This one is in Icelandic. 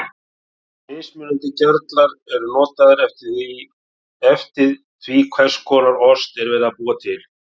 Mismunandi gerlar eru notaðir eftir því hvers konar ost er verið að búa til.